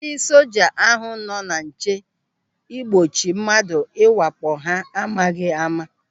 Ndị soja ahụ nọ na nche igbochi mmadụ ịwakpo ha n'amaghị ama.